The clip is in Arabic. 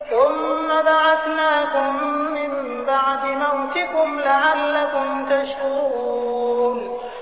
ثُمَّ بَعَثْنَاكُم مِّن بَعْدِ مَوْتِكُمْ لَعَلَّكُمْ تَشْكُرُونَ